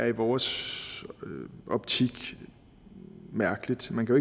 i vores optik mærkeligt man kan